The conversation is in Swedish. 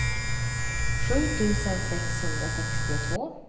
sju tusen sexhundrasextiotvå